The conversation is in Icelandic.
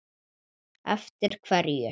Eftir hverju?